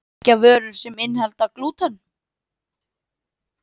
Merkja vörur sem innihalda glúten